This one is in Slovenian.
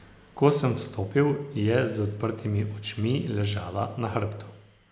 Ko sem vstopil, je z odprtimi očmi ležala na hrbtu.